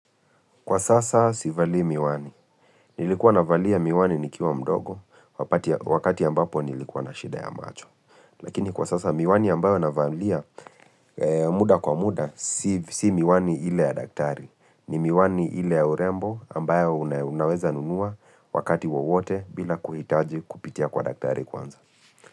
Kwa sasa sivalii miwani. Nilikuwa navalia miwani nikiwa mdogo wakati wakati ambapo nilikuwa na shida ya macho. Lakini kwa sasa miwani ambayo navalia muda kwa muda si si miwani ile ya daktari. Ni miwani ile ya urembo ambayo unaweza nunua wakati wowote bila kuhitaji kupitia kwa daktari kwanza.